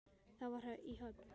Það var í Höfn.